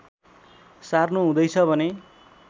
सार्नुहुँदैछ भने